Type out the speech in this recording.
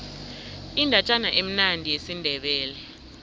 indatjana emnandi yesindebele